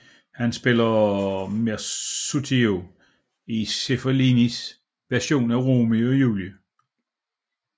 Han spillede Mercutio i Zeffirellis version af Romeo og Julie